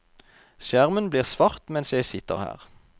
Skjermen blir svart mens jeg sitter her.